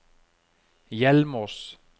Hjelmås